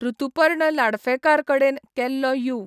ऋतुपर्ण लाडफेकार कडेन केल्लो यू.